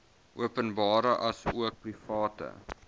openbare asook private